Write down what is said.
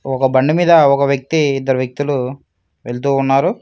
ఒక బండి మీద ఒక వ్యక్తి ఇద్దరు వ్యక్తులు వెళుతూ ఉన్నారు